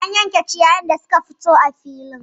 An yanke ciyayin da suka fito a filin